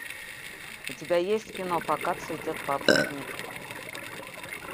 у тебя есть кино пока цветет папоротник